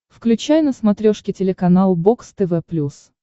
включай на смотрешке телеканал бокс тв плюс